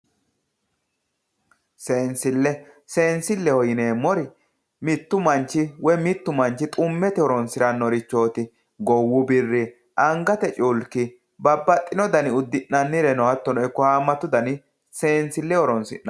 Seensile ,seensileho yineemmori mitu manchi woyi mitu manchi xumete horonsiranorichoti, goowu birre, angate culki babbaxino danni udi'nannireno ikko hattono hamatu danni seensile horonsidhano